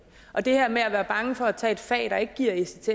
og det her med at være bange for at tage et fag der ikke giver ects